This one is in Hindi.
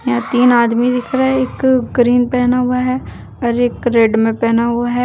तीन आदमी दिख रहा है एक ग्रीन पहना हुआ है और एक रेड में पहना हुआ है।